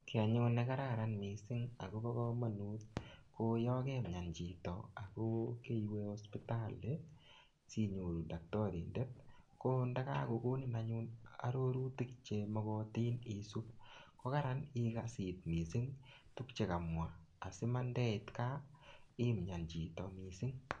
Kiy anyun ne kararan missing akobo komonut, ko yakemyan chito ako keiwe hosipitali, sinyoru daktarindet. Ko ndakakonin anyun arorutik che makatin isup, ko kararan ikas iit missing tuguk chekamwa. Asimandeit gaa, imyan chito missing.